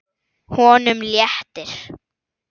Honum léttir.